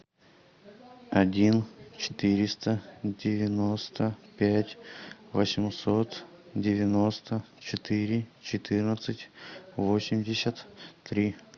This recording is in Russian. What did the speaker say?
один четыреста девяносто пять восемьсот девяносто четыре четырнадцать восемьдесят три